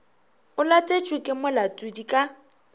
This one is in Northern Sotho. o latetšwe ke molatodi ka